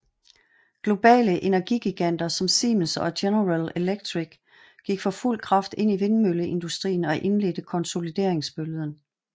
Globale energigiganter som Siemens og General Electric gik for fuld kraft ind i vindmølleindustrien og indledte konsolideringsbølgen